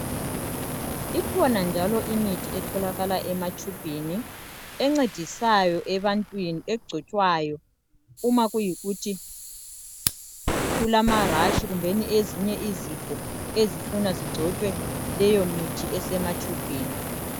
Ikhona njalo imithi etholakala ema tshubhini encedisayo ebantwini egcotshwayo uma kuyikuthi kulama rash kumbeni ezinye izifo ezifuna zigcotshwe leyo mithi esematshubhini